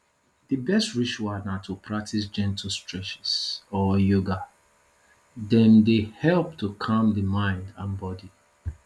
di best ritual na to practice gentle streches or yoga dem dey help to calm di mind and body